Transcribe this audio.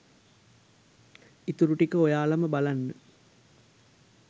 ඉතුරු ටික ඔයාලම බලන්න